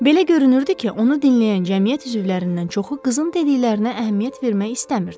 Belə görünürdü ki, onu dinləyən cəmiyyət üzvlərindən çoxu qızın dediklərinə əhəmiyyət vermək istəmirdi.